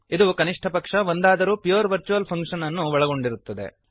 ಇದು ಕನಿಷ್ಠ ಪಕ್ಷ ಒಂದಾದರೂ ಪ್ಯೂರ್ ವರ್ಚುವಲ್ ಫಂಕ್ಶನ್ ಅನ್ನು ಒಳಗೊಂಡಿರುತ್ತದೆ